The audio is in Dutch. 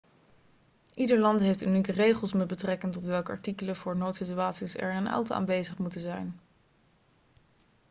ieder land heeft unieke regels met betrekking tot welke artikelen voor noodsituaties er in een auto aanwezig moeten zijn